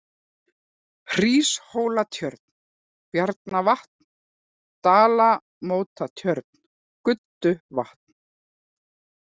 Hríshólatjörn, Bjarnarvatn, Dalamótatjörn, Gudduvatn